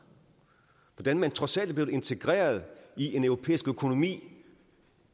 hvordan man trods alt er blevet integreret i en europæisk økonomi